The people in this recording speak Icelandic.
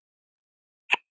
Eflaust þennan margur sér.